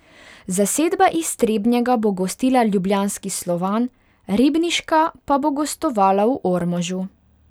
Zasedba iz Trebnjega bo gostila ljubljanski Slovan, ribniška pa bo gostovala v Ormožu.